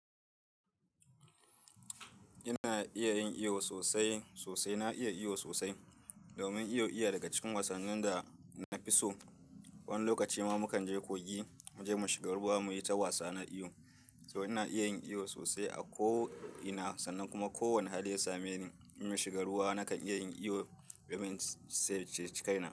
Ina iya yin iyo sosai sosai. Na iya iyo sosai. Domin iyo iya daga cikin wasannin da na fi so. Wani lokaci ma mukan je kogi muje mu shiga ruwa muyi ta wasa na iyo. To ina iya yin iyo sosai a ko ina, sannan kuma ko wani hali ya same ni in shiga ruwa nakan iya yin iyo domin sai ce cikaina.